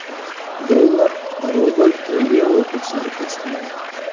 Dollar, rubl va yevro kursi pastladi.